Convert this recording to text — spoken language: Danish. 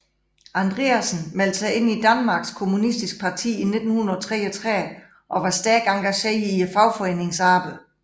Andreasen meldte sig ind i Danmarks Kommunistiske Parti i 1933 og var stærkt engageret i fagforeningsarbejde